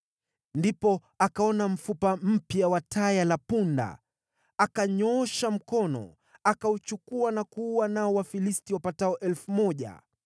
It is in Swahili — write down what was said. Ndipo akaona mfupa mpya wa taya la punda, akanyoosha mkono, akauchukua na kuua nao Wafilisti wapatao 1,000.